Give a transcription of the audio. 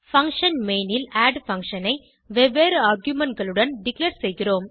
function main ல் add function ஐ வெவ்வேறு argumentகளுடன் டிக்ளேர் செய்கிறோம்